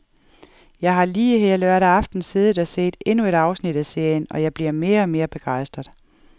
Jeg har lige her lørdag aften siddet og set endnu et afsnit af serien, og jeg bliver mere og mere begejstret.